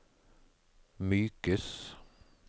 mykes